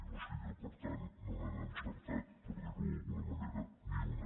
o sigui que per tant no n’han encertat per dir ho d’alguna manera ni una